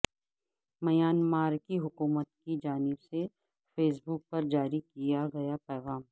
Myanmar کی حکومت کی جانب سے فیس بک پر جاری کیا گیا پیغام